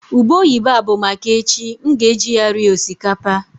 ube oyibo a bụ maka echi, m ga-eji ya rie osikapa